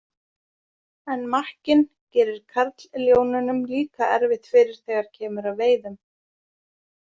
En makkinn gerir karlljónunum líka erfitt fyrir þegar kemur að veiðum.